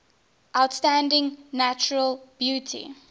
outstanding natural beauty